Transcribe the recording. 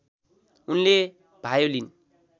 उनले भायोलिन